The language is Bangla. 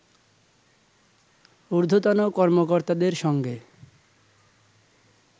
উর্ধ্বতন কর্মকর্তাদের সঙ্গে